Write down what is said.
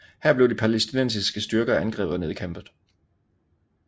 Her blev de palæstinensiske styrker angrebet og nedkæmpet